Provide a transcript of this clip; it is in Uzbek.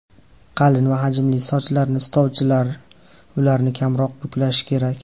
Qalin va hajmli sochlarni istovchilar, ularni kamroq buklashi kerak.